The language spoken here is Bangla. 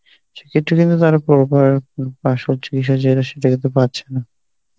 সে ক্ষেত্রে কিন্তু কারো পর পর চিকিৎসা তো পাচ্ছে না.